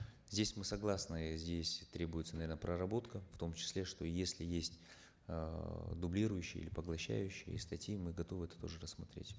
здесь мы согласны здесь требуется наверно проработка в том числе что если есть эээ дублирующие или поглощающие статьи мы готовы это тоже рассмотреть